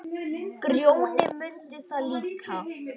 Grjóni mundi það líka.